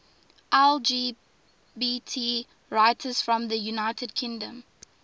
lgbt writers from the united kingdom